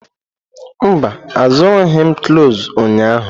Mba, azụrụghị m cloves ụnyahụ.